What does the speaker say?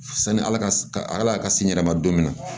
Sanni ala ka ala ka si n yɛrɛ ma don min na